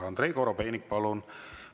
Andrei Korobeinik, palun!